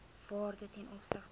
waarde ten opsigte